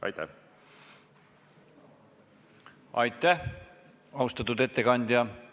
Aitäh, austatud ettekandja!